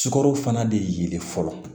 Sukaro fana de ye fɔlɔ